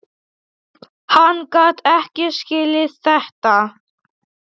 Hann gat ekki skilið þetta.